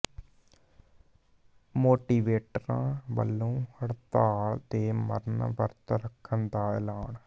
ਮੋਟੀਵੇਟਰਾਂ ਵੱਲੋਂ ਹੜਤਾਲ ਤੇ ਮਰਨ ਵਰਤ ਰੱਖਣ ਦਾ ਐਲਾਨ